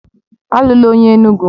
Alụla onye Enugwu!